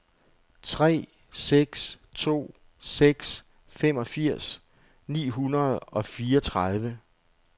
tre seks to seks femogfirs ni hundrede og fireogtredive